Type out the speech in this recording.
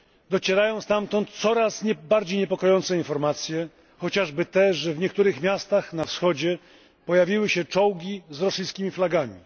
Docierają stamtąd coraz bardziej niepokojące informacje, chociażby te, że w niektórych miastach na wschodzie pojawiły się czołgi z rosyjskimi flagami.